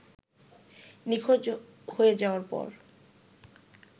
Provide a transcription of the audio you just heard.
নিখোঁজ হয়ে যাওয়ার পর